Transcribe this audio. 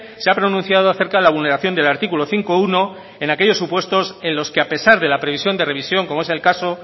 se ha pronunciado acerca de la vulneración del artículo cinco punto uno en aquellos supuestos en los que a pesar de la previsión de revisión como es el caso